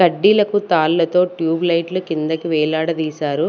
కడ్డీలకు తాళ్లతో ట్యూబ్లైట్ కిందకి వేలాడదీశారు.